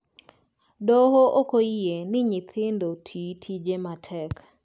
Doho okoyie ni nyithindo tii tije matek